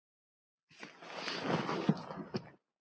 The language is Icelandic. Fékk borgað í mat.